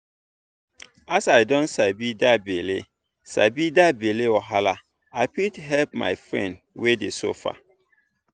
as i don sabi that belle sabi that belle wahala i fit help my friend wey dey suffer.